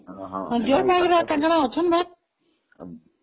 deer park ରେ ୪୫ ଜଣ ଅଛନ୍ତି ପରା